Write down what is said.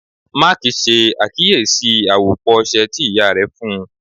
Mark ṣe akiyesi awopọ ọṣẹ ti iya rẹ fun u